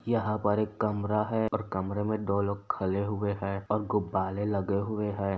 यहाँ पर एक कमरा है और कमरे में दो लोग खले हुए हैं और गुब्बाले लगे हुए हैं।